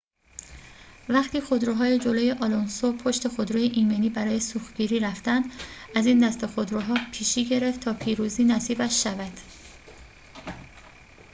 وقتی خودروهای جلوی آلونسو پشت خودروی ایمنی برای سوختگیری رفتند از این دسته خودروها پیشی گرفت تا پیروزی نصیبش شود